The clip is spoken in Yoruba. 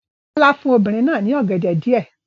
Bọ́lá fún obìnrin náà ní ọ̀gẹ̀dẹ̀ díẹ̀.